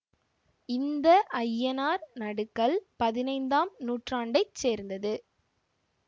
இந்த ஐய்யனார் நடுகல் பதினைந்தாம் நூற்றாண்டை சேர்ந்த்து